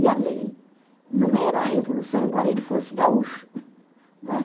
E a lei não era a revolução, embora ele fosse gaúcho.